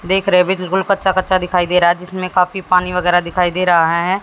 देख रहे अभी तो गुल कच्चा कच्चा दिखाई दे रहा है जिसमें काफी पानी वगैरा दिखाई दे रहा है।